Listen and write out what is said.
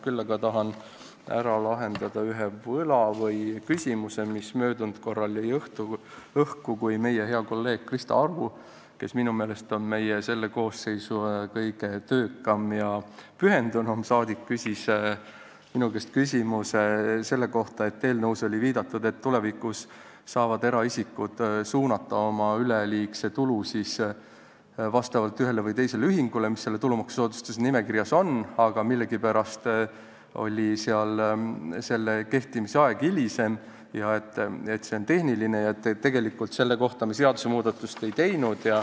Küll aga tahan ära lahendada ühe küsimuse, mis möödunud korral jäi õhku, kui meie hea kolleeg Krista Aru, kes minu meelest on selle koosseisu kõige töökam ja pühendunum rahvasaadik, küsis minu käest selle kohta, et eelnõus oli viidatud, et tulevikus saavad eraisikud suunata oma üleliigse tulu ühele või teisele ühingule, mis selles tulumaksusoodustuse saajate nimekirjas on, aga millegipärast oli selle kehtima hakkamise aeg hilisem ja et see on tehniline küsimus ja tegelikult me selle kohta seadusmuudatust ei teinud.